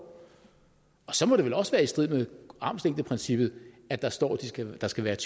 og så må det vel også være i strid med armslængdeprincippet at der står at der skal være et